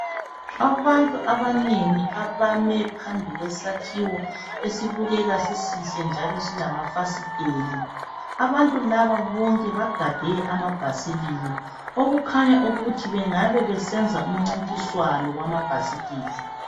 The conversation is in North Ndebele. abantun abanengi abame phambi kwesakhiwo esibukeka sisihle njalo silamafasiteli abantu laba bonke bagade amabhasikili okukhanya ukuthi bengaba besenza umcintiswano wamabhasikili